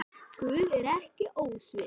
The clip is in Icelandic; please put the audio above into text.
Guð er ekki ósvip